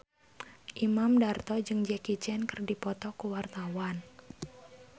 Imam Darto jeung Jackie Chan keur dipoto ku wartawan